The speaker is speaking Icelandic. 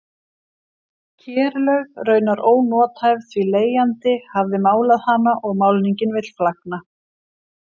Kerlaug raunar ónothæf því leigjandi hafði málað hana og málningin vill flagna.